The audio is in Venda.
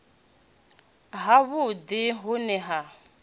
ha vhudi hu ne ha